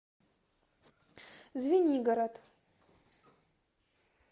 звенигород